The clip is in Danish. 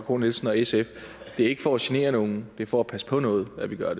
k nielsen og sf det er ikke for at genere nogen det er for at passe på noget at vi gør